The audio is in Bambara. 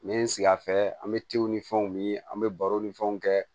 N ye n sigi a fɛ an bɛ ni fɛnw min an bɛ baro ni fɛnw kɛ